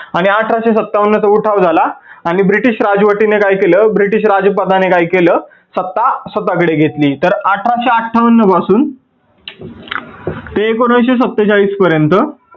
आणि अठराशे सत्तावन्न चा उठाव झाला, आणि ब्रिटीश राजवटीने काय केलं ब्रिटीश राजसभा ने काय केलं सभा स्वतः कडे घेतली. तर अठराशे अठ्ठावन्न पासून ते एकोनाविस्से सत्तेचाळीस पर्यंत